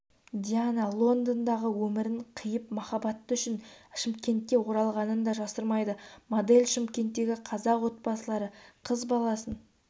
диана лондондағы өмірін қиып махаббаты үшін шымкентке оралғанын да жасырмайды модель шымкенттегі қазақ отбасылары қыз баласын